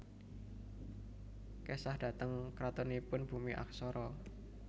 Kesah dhateng kantoripun Bumi Aksara